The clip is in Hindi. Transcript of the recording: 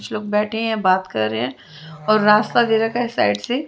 कुछ लोग बेठे हैं बात कर रहे हैं और रास्ता दे रखा है साईड से--